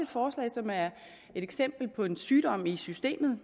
forslag som er et eksempel på en sygdom i systemet